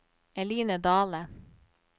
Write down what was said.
Eline Dahle